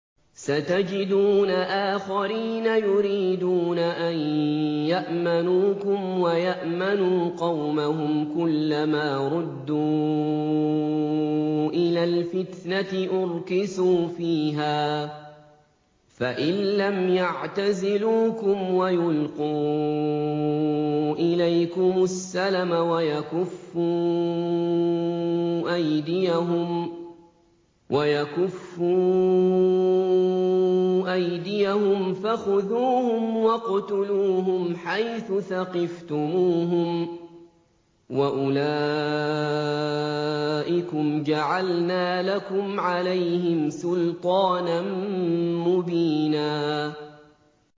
سَتَجِدُونَ آخَرِينَ يُرِيدُونَ أَن يَأْمَنُوكُمْ وَيَأْمَنُوا قَوْمَهُمْ كُلَّ مَا رُدُّوا إِلَى الْفِتْنَةِ أُرْكِسُوا فِيهَا ۚ فَإِن لَّمْ يَعْتَزِلُوكُمْ وَيُلْقُوا إِلَيْكُمُ السَّلَمَ وَيَكُفُّوا أَيْدِيَهُمْ فَخُذُوهُمْ وَاقْتُلُوهُمْ حَيْثُ ثَقِفْتُمُوهُمْ ۚ وَأُولَٰئِكُمْ جَعَلْنَا لَكُمْ عَلَيْهِمْ سُلْطَانًا مُّبِينًا